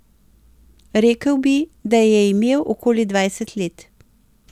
Rekel bi, da je imel okoli dvajset let.